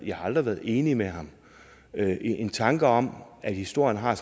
jeg har aldrig været enig med ham en tanke om at historien har